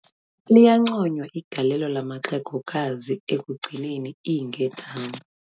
Liyanconywa igalelo lamaxehegokazi ekugcineni iinkedama.